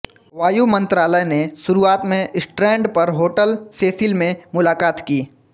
वायु मंत्रालय ने शुरूआत में स्ट्रैंड पर होटल सेसिल में मुलाकात की